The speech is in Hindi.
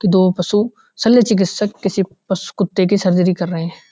दो पशु सल्या चिकित्सक किसी पशु कुत्ते की सर्जरी कर रहे हैं।